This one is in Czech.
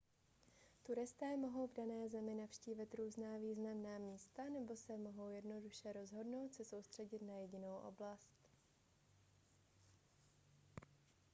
turisté mohou v dané zemi navštívit různá významná místa nebo se mohou jednoduše rozhodnout se soustředit na jedinou oblast